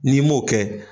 N'i m'o kɛ